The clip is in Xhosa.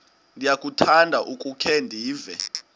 ndiyakuthanda ukukhe ndive